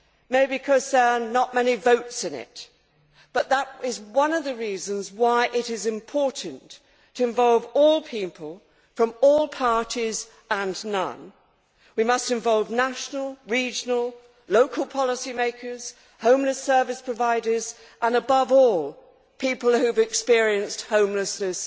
Maybe because there are not many votes in it, but that is one of the reasons why it is important to involve all people, from all parties and no party. We must involve national, regional and local policy makers, homeless service providers and, above all, people who have experienced homelessness